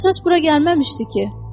Qıvrımsaç bura gəlməmişdi ki?